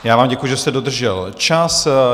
Já vám děkuji, že jste dodržel čas.